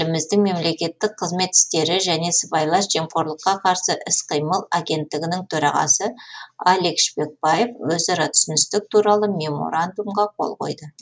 еліміздің мемлекеттік қызмет істері және сыбайлас жемқорлыққа қарсы іс қимыл агенттігінің төрағасы алик шпекбаев өзара түсіністік туралы меморандумқа қол қойды